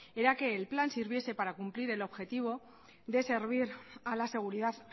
era que el plan sirviese para el cumplir el objetivo de servir a la seguridad